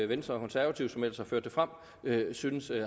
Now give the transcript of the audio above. venstre og konservative som ellers har ført det frem synes